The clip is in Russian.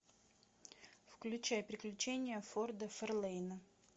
включай приключения форда ферлейна